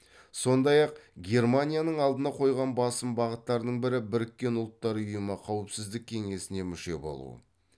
сондай ақ германияның алдына қойған басым бағыттарының бірі біріккен ұлттар ұйымы қауіпсіздік кеңесіне мүше болу